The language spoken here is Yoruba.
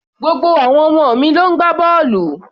Gbogbo àwọn ọmọ mi ló ń gbá bọ́ọ̀lù